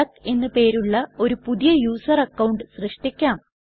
duck എന്ന് പേരുള്ള ഒരു പുതിയ യുസർ അക്കൌണ്ട് സൃഷ്ടിക്കാം